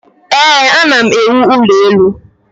ee, ana m ewu ụlọ elu